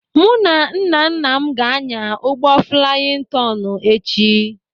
Mụ na nnanna m ga-anya ụgbọ flaiyin tọnụ echi.